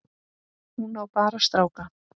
Hún á bara stráka.